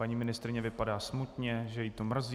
Paní ministryně vypadá smutně, že ji to mrzí.